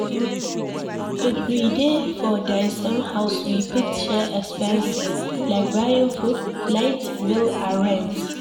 If we dey for di same house we fit share expenses like buying food, light bill and rent